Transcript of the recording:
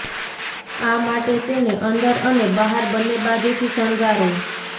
આ માટે તેને અંદર અને બહાર બંને બાજુથી શણગારો